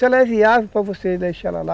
Se ela é viável para você deixar ela lá,